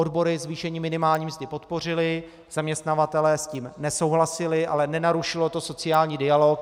Odbory zvýšení minimální mzdy podpořily, zaměstnavatelé s tím nesouhlasili, ale nenarušilo to sociální dialog.